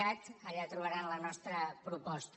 cat allà trobaran la nostra proposta